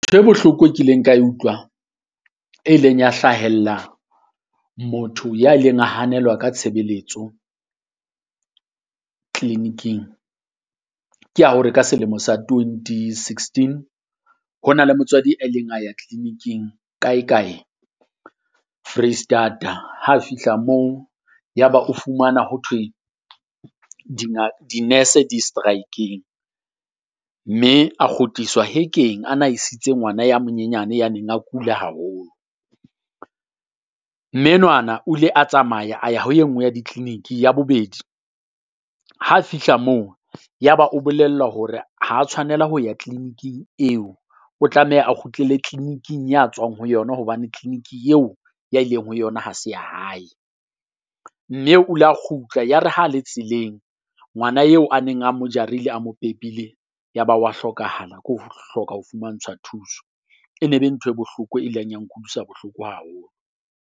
Bohloko e kileng ka e utlwa e leng ya hlahella motho ya ileng a hanelwa ka tshebeletso clinic-ing. Ke ya hore ka selemo sa twenty sixteen ho na le motswadi a ileng a ya clinic-ing kae kae Foreisetata. Ha fihla moo ya ba o fumana ho thwe di-nurse di striking, mme a kgutliswa hekeng a na isitse ngwana ya monyenyane ya neng a kula haholo. Mme enwana o ile a tsamaya a ya ho e nngwe ya di-clinic ya bobedi ha fihla moo, ya ba o bolellwa hore ha tshwanela ho ya clinic-ing eo. O tlameha a kgutlele clinic-ing ya tswang ho yona, hobane clinic-ing eo ya ileng ho yona ha se ya hae. Mme o la kgutla yare ha le tseleng, ngwana eo a neng a mo jarile a mo pepile ya ba wa hlokahala ke ho hloka ho fumantshwa thuso. E ne e be ntho e bohloko e leng ya nkutlwisa bohloko haholo.